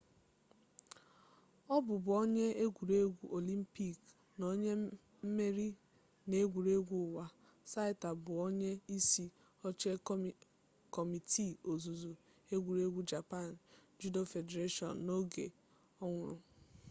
ọ bụbu onye egwuregwu olympic na onye mmeri n'egwuregwu ụwa saito bụ onye isi oche kọmiti ozuzu egwuregwu japan judo federation n'oge ọ nwụrụ